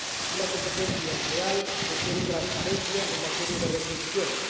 Una competencia leal requiere transparencia en materia de retribuciones.